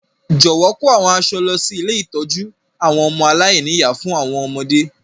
Jọ̀wọ́ kò àwọn aṣọ lọ si ilé ìtójú àwon ọmọ aláìní-ìyá fún àwọn ọmọdé.